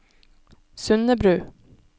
Sundebru